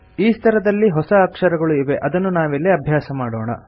ಈ ಸ್ತರದಲ್ಲಿ ಹೊಸ ಅಕ್ಷರಗಳು ಇವೆ ಅದನ್ನು ನಾವಿಲ್ಲಿ ಅಭ್ಯಾಸ ಮಾಡೋಣ